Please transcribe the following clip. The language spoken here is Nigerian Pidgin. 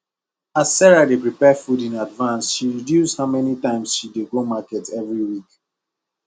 as sarah dey prepare food in advance she reduce how many times she dey dey go market every week